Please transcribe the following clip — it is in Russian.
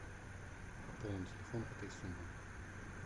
пополни телефон этой суммой